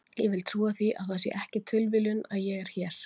Ég vil trúa því að það sé ekki tilviljun að ég er hér.